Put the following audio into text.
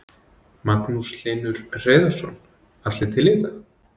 Magnús Hlynur Hreiðarsson: Allir til í þetta?